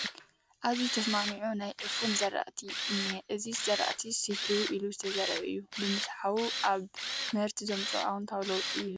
ኣዝዩ ዝተስማዕምዖ ናይ ዕፉን ዝራእቲ እኒሆ፡፡ እዚ ዝራእቲ ስሒዎ ኢሉ ዝተዘርአ እዩ፡፡ ብምስሓዉ ኣብ ምህርቲ ዘምፅኦ ኣወንታዊ ለውጢ ይህሉ ዶ?